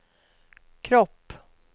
kropp